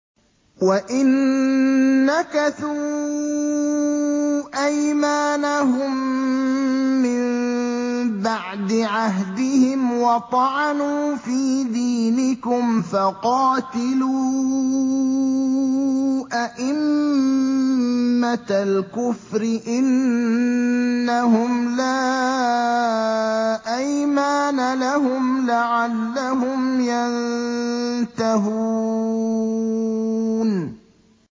وَإِن نَّكَثُوا أَيْمَانَهُم مِّن بَعْدِ عَهْدِهِمْ وَطَعَنُوا فِي دِينِكُمْ فَقَاتِلُوا أَئِمَّةَ الْكُفْرِ ۙ إِنَّهُمْ لَا أَيْمَانَ لَهُمْ لَعَلَّهُمْ يَنتَهُونَ